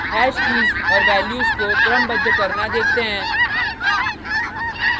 hash keys और values को क्रमबद्ध करना देखते हैं